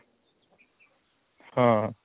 ହଁ